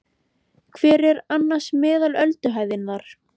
Hver er annars meðal ölduhæðin þar?